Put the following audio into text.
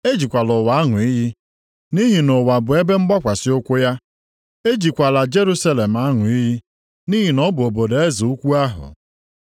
Ejikwala ụwa aṅụ iyi nʼihi na ụwa bụ ebe mgbakwasị ụkwụ ya. Ejikwala Jerusalem aṅụ iyi nʼihi na ọ bụ obodo Eze ukwu ahụ.